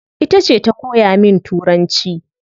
Itace ta koya min turanci